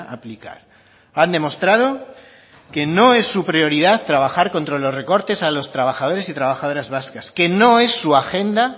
aplicar han demostrado que no es su prioridad trabajar contra los recortes a los trabajadores y trabajadoras vascas que no es su agenda